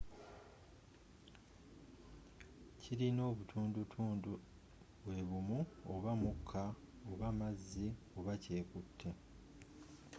kilina obutundu tundu bwebumu oba mukka oba mazzi oba kyekute